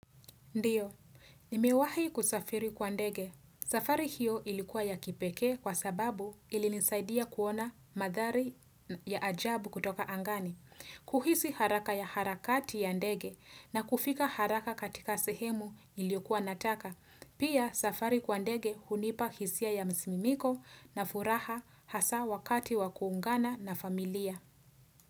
Ndiyo, nimewahi kusafiri kwa ndege. Safari hiyo ilikuwa ya kipekee kwa sababu ilinisaidia kuona mandhari ya ajabu kutoka angani. Kuhisi haraka ya harakati ya ndege na kufika haraka katika sehemu niliyokuwa nataka. Pia, safari kwa ndege hunipa hisia ya msisimko na furaha hasa wakati wa kuungana na familia.